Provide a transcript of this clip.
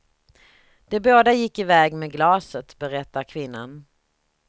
De båda gick i väg med glaset, berättar kvinnan.